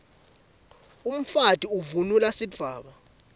umfati uvunulb sidvwaba